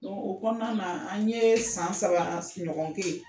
O kɔnɔna na an ye san saba sigin ɲɔngon kɛ yen.